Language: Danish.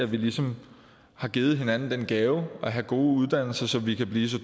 vi ligesom har givet hinanden den gave at have gode uddannelser så vi kan blive så